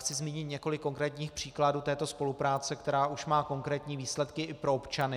Chci zmínit několik konkrétních příkladů této spolupráce, která už má konkrétní výsledky i pro občany.